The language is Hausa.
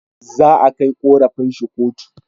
Za a kai korafin shi kotu